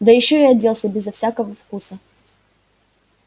да ещё и одевался безо всякого вкуса